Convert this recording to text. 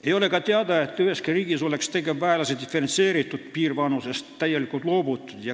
Ei ole ka teada, et üheski riigis oleks tegevväelase diferentseeritud piirvanusest täielikult loobutud.